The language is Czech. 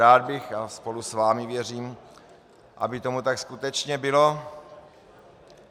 Rád bych, a spolu s vámi, věřím, aby tomu tak skutečně bylo.